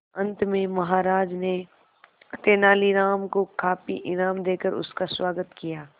अंत में महाराज ने तेनालीराम को काफी इनाम देकर उसका स्वागत किया